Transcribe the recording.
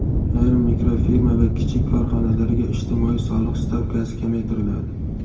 Ayrim mikrofirma va kichik korxonalarga ijtimoiy soliq stavkasi kamaytiriladi.